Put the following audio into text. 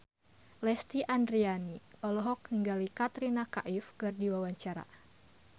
Lesti Andryani olohok ningali Katrina Kaif keur diwawancara